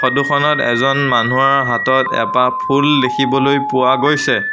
Photo খনত এজন মানুহৰ হাতত এপাহ ফুল দেখিবলৈ পোৱা গৈছে।